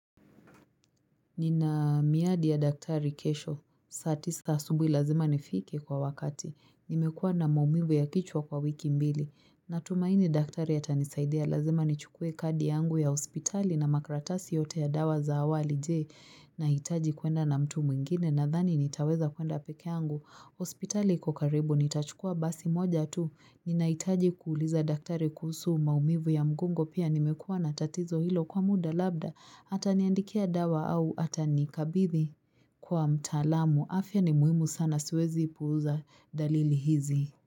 Nina miadi ya daktari kesho. Saa tisa asubuhi lazima nifike kwa wakati. Nimekuwa na maumivu ya kichwa kwa wiki mbili. Natumaini daktari atanisaidia. Lazima nichukue kadi yangu ya hospitali na makaratasi yote ya dawa za awali. Je, Nahitaji kuenda na mtu mwingine? Nadhani nitaweza kuenda peke yangu. Hospitali iko karibu. Nitachukua basi moja tu. Ninahitaji kuuliza daktari kuhusu maumivu ya mgongo pia nimekuwa na tatizo hilo kwa muda labda ataniandikia dawa au atanikabithi kwa mtaalamu. Afya ni muhimu sana siwezi puuza dalili hizi.